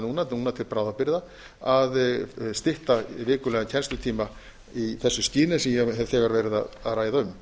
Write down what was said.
núna til bráðabirgða að stytta vikulegan kennslutíma í þessu skyni sem ég hef þegar verið að ræða um